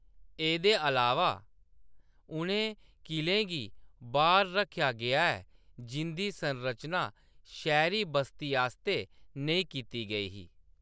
एह्‌‌‌दे अलावा, उʼनें किलें गी बाह्‌‌र रक्खेआ गेआ जिंʼदी संरचना शैह्‌‌‌री बस्ती आस्तै नेईं कीती गेई ही।